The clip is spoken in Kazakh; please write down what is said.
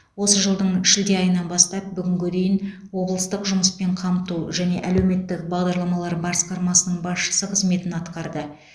осы жылдың шілде айынан бастап бүгінге дейін облыстық жұмыспен қамту және әлеуметтік бағдарламалар басқармасының басшысы қызметін атқарды